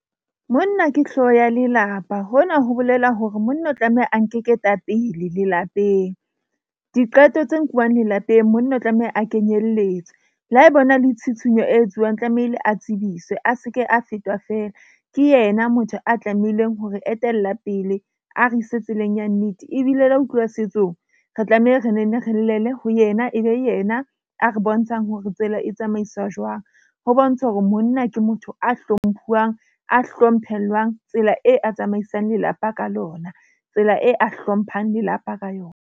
Monna ke hlooho ya lelapa, hona ho bolela hore monna o tlameha a nke ketapele lelapeng. Diqeto tse nkuang lelapeng. Monna o tlameha a kenyelletswe le ha ho na le tshitshinyo e etsuwang tlamehile a tsebiswe. A seke, a fetwa feela ke yena motho a tlamehileng hore etella pele a re ise tseleng ya nnete ebile la ho tluwa setsong. Re tlameha re nenne re llele ho yena, e be yena a re bontshang hore tsela e tsamaiswa jwang. Ho bontsha hore monna ke motho a hlomphuwang, a hlomphellwang tsela e a tsamaisang lelapa ka lona, tsela e a hlomphang lelapa ka yona.